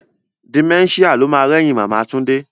Dementia lo ma rẹ́yìn Màmá Túndé